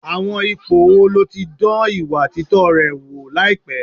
Àwọn ipò wo ló ti dán ìwà títọ́ rẹ wò láìpẹ́?